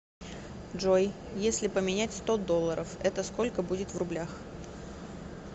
джой если поменять сто долларов это сколько будет в рублях